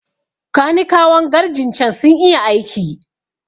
Kanikawan garrjin cen sun iya aiki